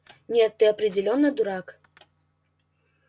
нет ты определённо дурак